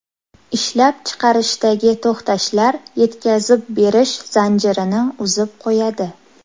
Ishlab chiqarishdagi to‘xtashlar yetkazib berish zanjirini uzib qo‘yadi.